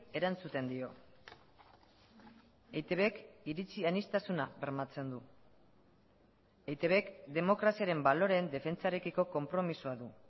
erantzuten dio eitbk iritzi aniztasuna bermatzen du eitbk demokraziaren baloreen defentsarekiko konpromisoa du